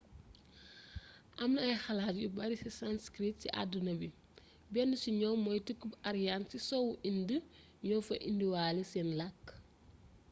amna ay xalaat yu bari si sanskrit si aduna bi benn si ñoom moy tukkib aryan ci soowu inde ño fa indiwale sen lakk